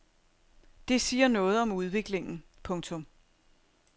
Det siger noget om udviklingen. punktum